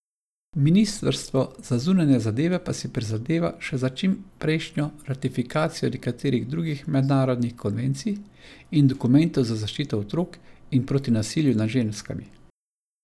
Ministrstvo za zunanje zadeve pa si prizadeva še za čimprejšnjo ratifikacijo nekaterih drugih mednarodnih konvencij in dokumentov za zaščito otrok in proti nasilju nad ženskami.